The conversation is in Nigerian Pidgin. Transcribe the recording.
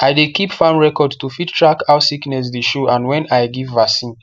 i dey keep farm record to fit track how sickness dey show and when i give vaccine